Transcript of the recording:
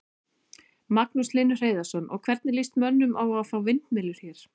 Magnús Hlynur Hreiðarsson: Og, hvernig lýst mönnum á að fá vindmyllur hér?